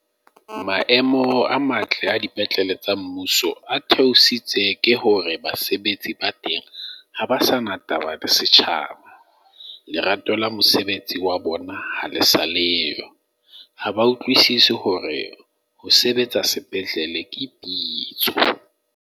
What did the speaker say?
Maemo a matle a dipetlele tsa mmuso a theositse ke hore basebetsi ba teng ha ba sa na taba le setjhaba. Lerato la mosebetsi wa bona ha le sa leo, ha ba utlwisisi hore ho sebetsa sepetlele ke pitso.